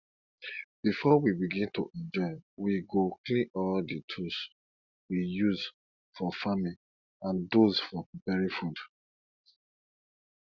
before we begin to enjoy we go clean all the tools we used for farming and those for preparing food